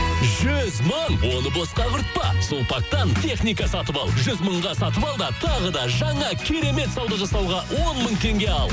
жүз мың оны босқа құртпа сулпактан техника сатып ал жүз мыңға сатып ал да тағы да жаңа керемет сауда жасауға он мың теңге ал